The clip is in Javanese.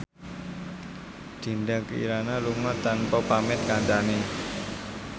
Dinda Kirana lunga tanpa pamit kancane